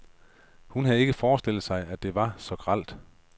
Men hun havde ikke forestillet sig, at det var så grelt.